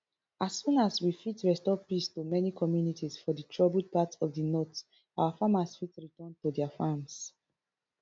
as soon as we fit restore peace to many communities for di troubled parts of di north our farmers fit return to dia farms